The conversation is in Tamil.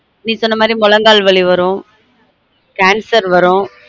நீ சொன்ன மாதிரி முழங்கால் வலி வரும் cancer வ்ரும்